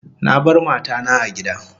Na bar mata na a gida